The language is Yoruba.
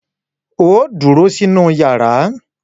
Óò dúró sínú yàrá!